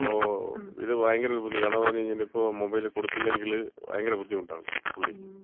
അപ്പോ ഇത് ഭയങ്കര ഒരു ബുദ്ധിമു, കാരണംന്ന് പറഞ്ഞ്കഴിഞ്ഞാ ഇപ്പോ മൊബൈൽ കൊടുത്തില്ലെങ്കിൽ ഭയങ്കര ബുദ്ധിമുട്ടാണ് പുള്ളിക്ക്.